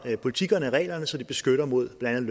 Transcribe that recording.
politikkerne reglerne så de beskytter mod blandt